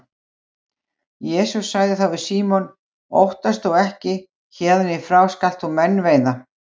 Jesús sagði þá við Símon: Óttast þú ekki, héðan í frá skalt þú menn veiða